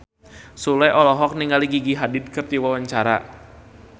Sule olohok ningali Gigi Hadid keur diwawancara